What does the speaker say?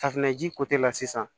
Safunɛji kote la sisan